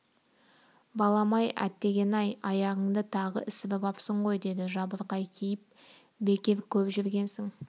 балам-ай әттеген-ай аяғыңды тағы ісіріп апсың ғой деді жабырқай кейіп бекер көп жүргенсің